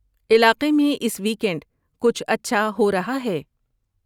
الاقے میں اس ویکینڈ کچھ اچھا ہو رہا ہے؟